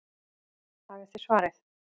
Hafið þið svarið?